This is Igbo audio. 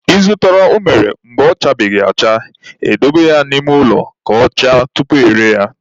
I zụta unere mgbe ọ chabeghị acha, e dobe ya n'ime ụlọ ka ọ chaa tupu e ree ya.